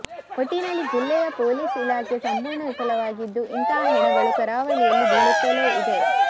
ಒಟ್ಟಿನಲ್ಲಿ ಜಿಲ್ಲೆಯ ಪೊಲೀಸ್ ಇಲಾಖೆ ಸಂಪೂರ್ಣ ವಿಫಲವಾಗಿದ್ದು ಇಂತಹ ಹೆಣಗಳು ಕರಾವಳಿಯಲ್ಲಿ ಬೀಳುತ್ತಲೇ ಇದೆ